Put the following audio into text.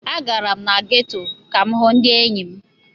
Agara m na geto ka m hụ ndị enyi m.